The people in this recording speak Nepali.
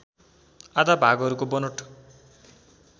आधा भागहरूको बनोट